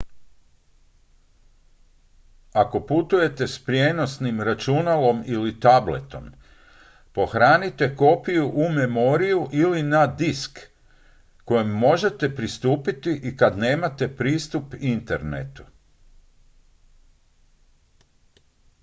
ako putujete s prijenosnim računalom ili tabletom pohranite kopiju u memoriju ili na disk kojem možete pristupiti i kad nemate pristup internetu